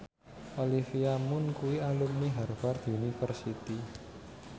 Olivia Munn kuwi alumni Harvard university